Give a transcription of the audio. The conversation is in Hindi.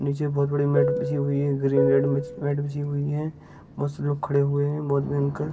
नीचे बहुत बड़ी मैट बिछी हुई है ग्रीन रेड मैट बिछी हुई है बहुत सारे लोग खड़े हुए हैं बहुत भयंकर।